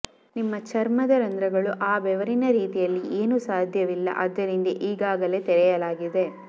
ನಿಮ್ಮ ಚರ್ಮದ ರಂಧ್ರಗಳು ಆ ಬೆವರಿನ ರೀತಿಯಲ್ಲಿ ಏನು ಸಾಧ್ಯವಿಲ್ಲ ಆದ್ದರಿಂದ ಈಗಾಗಲೇ ತೆರೆಯಲಾಗಿದೆ